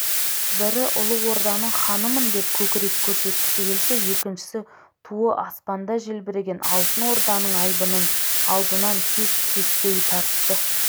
бірі ұлы орданың ханымындеп көкірек көрсеткісі келсе екіншісі туы аспанда желбіреген алтын орданың айбынын алдынан кес-кестей тартты